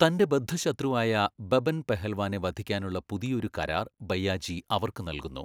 തൻ്റെ ബദ്ധശത്രുവായ ബബൻ പെഹൽവാനെ വധിക്കാനുള്ള പുതിയൊരു കരാർ ഭയ്യാജി അവർക്ക് നൽകുന്നു.